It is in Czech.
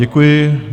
Děkuji.